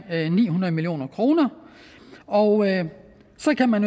ni hundrede million kroner og så kan man